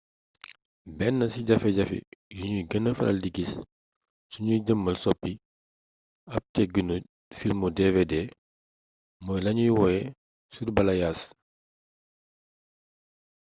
benn ci jafe-jafe yuñuy gëna faral di gis suñuy jéemal soppi ab tëggiinu filmu dvd mooy lañuy woowee surbalayage